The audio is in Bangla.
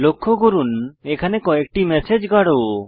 লক্ষ্য করুন এখানে কয়েকটি ম্যাসেজ গাঢ়